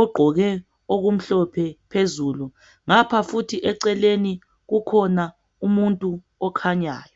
ogqoke okumhlophe phezulu ngapha futhi eceleni kukhona umuntu okhanyayo.